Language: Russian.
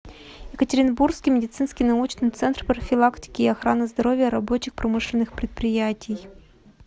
екатеринбургский медицинский научный центр профилактики и охраны здоровья рабочих промышленных предприятий